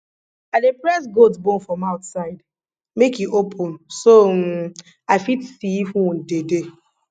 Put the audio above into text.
i dey press goat bone for mouth side make e open so um i fit see if wound dey dey